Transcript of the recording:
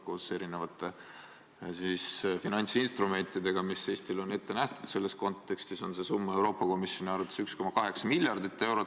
Koos erinevate finantsinstrumentidega, mis Eestile on selles kontekstis ette nähtud, on see summa Euroopa Komisjoni arvates 1,8 miljardit eurot.